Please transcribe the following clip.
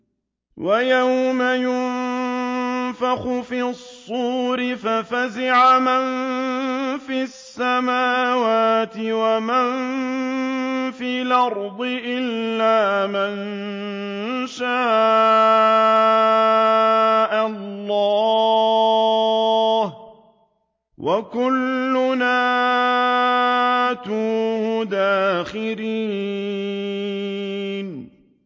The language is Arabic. وَيَوْمَ يُنفَخُ فِي الصُّورِ فَفَزِعَ مَن فِي السَّمَاوَاتِ وَمَن فِي الْأَرْضِ إِلَّا مَن شَاءَ اللَّهُ ۚ وَكُلٌّ أَتَوْهُ دَاخِرِينَ